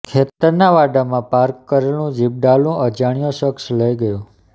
ખેતરના વાડામાં પાર્ક કરેલું જીપડાલુ અજાણ્યો શખસ લઇ ગયો